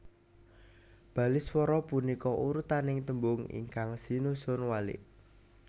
Baliswara punika urutaning tembung ingkang sinusun walik